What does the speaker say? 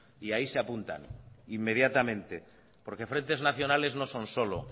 y ahí se apuntan inmediatamente porque frentes nacionales no son solo